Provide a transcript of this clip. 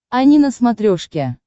ани на смотрешке